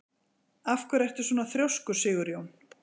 Af hverju ertu svona þrjóskur, Sigurjón?